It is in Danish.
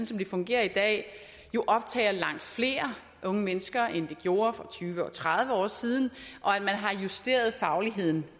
som det fungerer i dag jo optager langt flere unge mennesker end de gjorde for tyve og tredive år siden og at man har justeret fagligheden